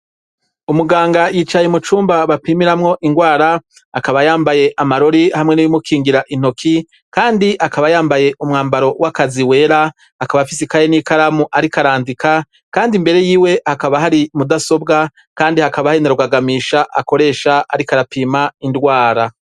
Umuganga yicaye umucumba bapimiramwo indwara, akaba yambaye amarori hamwe n'ibimukingira intoki, kandi akaba yambaye umwambaro w'akazi wera, akaba afise ikaye n'ikaramu ariko arandika, kandi imbere yiwe hakaba hari mudasobwa, kandi hakaba hari na rugagamisha akoresha ariko arapima indwara.